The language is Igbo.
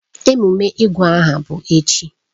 Ememe ịgụ aha bụ echi.